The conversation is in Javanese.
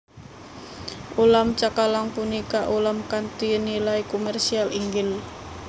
Ulam cakalang punika ulam kanthi nilai komersial inggil